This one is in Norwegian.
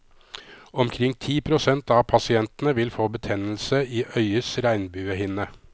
Omkring ti prosent av pasientene vil få betennelse i øyets regnbuehinne.